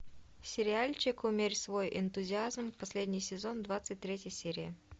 сериальчик умерь свой энтузиазм последний сезон двадцать третья серия